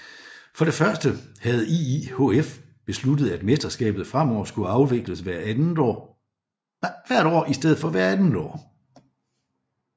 For det første havde IIHF besluttet at mesterskabet fremover skulle afvikles hvert år i stedet for hvert andet år